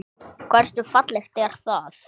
Hversu fallegt er það?